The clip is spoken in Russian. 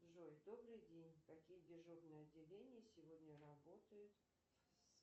джой добрый день какие дежурные отделения сегодня работают